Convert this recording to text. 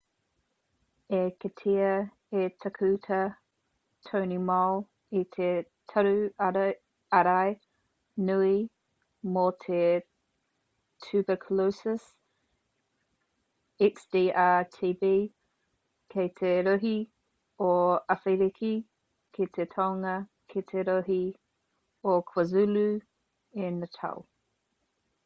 i kitea e tākuta tony moll i te taru ārai nui mō te tuberculosis xdr-tb ki te rohe o awhiriki ki te tonga ki te rohe o kwazulu i natal